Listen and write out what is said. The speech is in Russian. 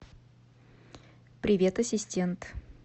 привет ассистент